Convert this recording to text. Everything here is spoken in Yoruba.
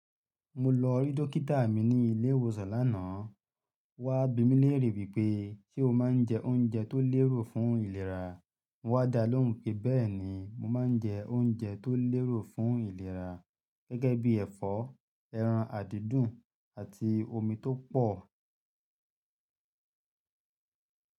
Mo lọ rí dókítà mi ní ilé ìwòsàn lánàá. Wá bímílèèrè wípé ṣe o máa ń jẹ oúnjẹ tó lérò fún ìlera? Mo wá dá lóhùn pé bẹ́ẹ̀ni mo máa ń jẹ oúnjẹ tó lérò fún ìlera gẹ́gẹ́ bí ẹ̀fọ́, ẹran àdídùn àti omi tó pọ̀